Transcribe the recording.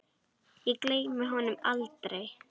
Ég gleymi honum aldrei.